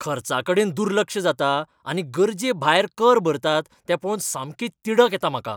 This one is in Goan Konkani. खर्चाकडेन दुर्लक्ष जाता आनी गरजेभायर कर भरतात तें पळोवन सामकी तिडक येता म्हाका.